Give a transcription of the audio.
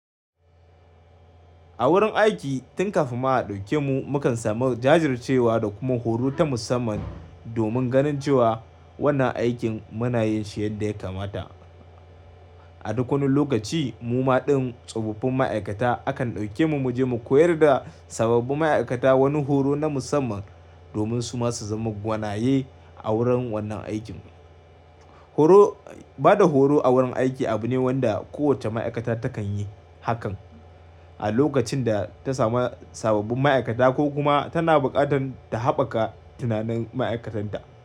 A wurin aiki, tun kafin ma a ɗauke mu, mukan samu jajircewa da kuma horo ta musamman domin ganin cewa wannan aikin muna yin shi yadda ya kamata. A duk wani lokaci mu ma dai tsofaffin ma'aikata akan ɗauke mu mu je mu koyar da sababbin ma'aikata wani horo na musamman domin su ma su zama gwanaye a wurin wannan aikin. Horo, ba da horo a wurin aiki abu ne wanda kowace ma'aikata takan yi haka a lokacin da ta dauki sababbin ma'aikata ko kuma tana buƙatar ta haɓaka tunanin ma'aikatanta.